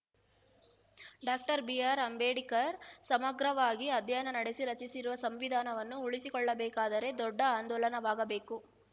doctor B R Ambedkar ಸಮಗ್ರವಾಗಿ ಅಧ್ಯಯನ ನಡೆಸಿ ರಚಿಸಿರುವ ಸಂವಿಧಾನವನ್ನು ಉಳಿಸಿಕೊಳ್ಳಬೇಕಾದರೆ ದೊಡ್ಡ ಆಂದೋಲನವಾಗಬೇಕು